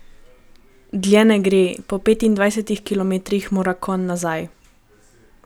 Dlje ne gre, po petindvajsetih kilometrih mora konj nazaj.